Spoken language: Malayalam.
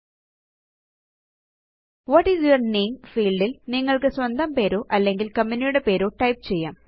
what is your name field ല് നിങ്ങള്ക്ക് സ്വന്തം പേരോ അല്ലെങ്കില് കമ്പനിയുടെ പേരോ ടൈപ്പ് ചെയ്യാം